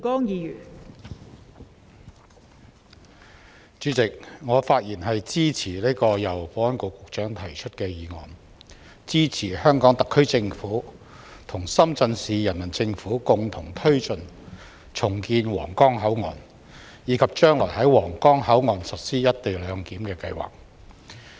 代理主席，我發言支持由保安局局長動議的議案，支持香港特區政府與深圳市人民政府共同推進重建皇崗口岸，以及將來在皇崗口岸實施"一地兩檢"的計劃。